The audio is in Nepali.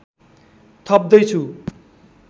थप्दै छु